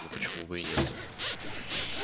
но почему бы и нет